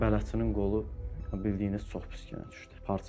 Bələdçinin qolu bildiyiniz çox pis günə düşdü.